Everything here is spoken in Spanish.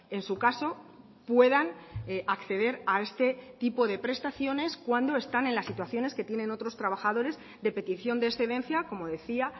en su caso puedan acceder a este tipo de prestaciones cuando están en las situaciones que tienen otros trabajadores de petición de excedencia como decía